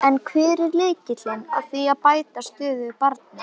En hver er lykillinn að því að bæta stöðu barna?